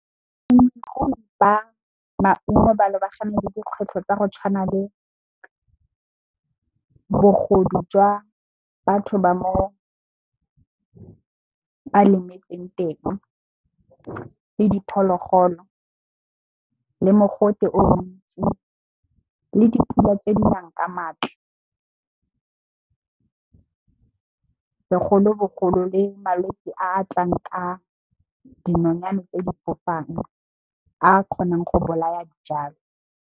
Ba maungo ba lebagane le dikgwetlho tsa go tshwana le bogodu jwa batho ba mo ba lemetseng teng, le diphologolo, le mogote o montsi, le dipula tse dinang ka maatla. Segolobogolo, le malwetsi a tlang ka dinonyane tse di fofang a kgonang go bolaya dijalo.